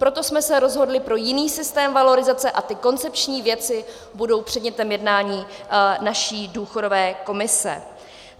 Proto jsme se rozhodli pro jiný systém valorizace a ty koncepční věci budou předmětem jednání naší důchodové komise.